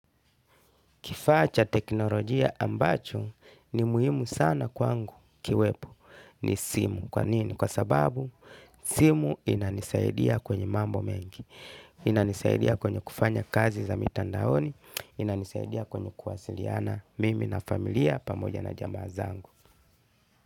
Kifaa cha teknolojia ambacho ni muhimu sana kwangu kiwepo ni simu. Kwa nini? Kwa sababu simu inanisaidia kwenye mambo mengi. Inanisaidia kwenye kufanya kazi za mitandaoni. Inanisaidia kwenye kuwasiliana mimi na familia pamoja na jamaa zangu.